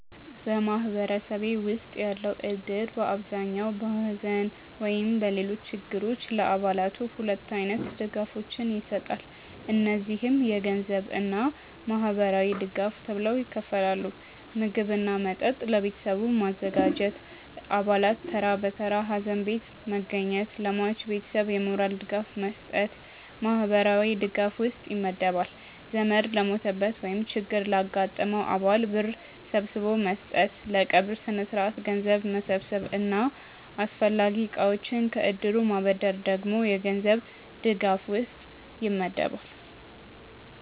በማህበረሰቤ ውስጥ ያለው እድር በአብዛኛው በሐዘን ወይም በሌሎች ችግሮች ጊዜ ለአባላቱ ሁለት አይነት ድጋፎችን ይሰጣል። እነዚህም የገንዘብ እና ማህበራዊ ድጋፍ ተብለው ይከፈላሉ። ምግብ እና መጠጥ ለቤተሰቡ ማዘጋጀት፣ አባላት ተራ በተራ ሀዘን ቤት መገኘት፣ ለሟች ቤተሰብ የሞራል ድጋፍ መስጠት ማህበራዊ ድጋፍ ውስጥ ይመደባል። ዘመድ ለሞተበት ወይም ችግር ላጋጠመው አባል ብር ሰብስቦ መስጠት፣ ለቀብር ስነስርዓት ገንዘብ መሰብሰብ እና አስፈላጊ እቃዎችን ከእድሩ ማበደር ደግሞ የገንዘብ ድጋፍ ውስጥ ይመደባል።